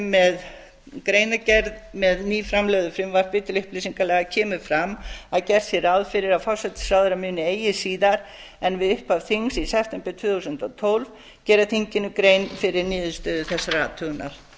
með greinargerð með nýframlögðu frumvarpi til upplýsingalaga kemur fram að gert sé ráð fyrir að forsætisráðherra muni eigi síðar en við upphaf þings í september tvö þúsund og tólf gera þinginu grein fyrir niðurstöðu þessarar